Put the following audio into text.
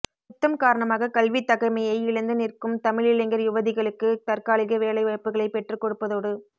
யுத்தம் காரணமாக கல்வி தகமையை இழந்து நிற்கும் தமிழ் இளைஞர் யுவதிகளுக்கு தற்காலிக வேலை வாய்ப்புகளை பெற்றுக்கொடுப்பதோடு